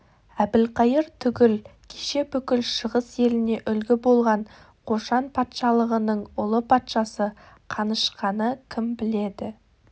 әбілқайыр түгіл кеше бүкіл шығыс еліне үлгі болған қошан патшалығының ұлы патшасы қанышқаны кім біледі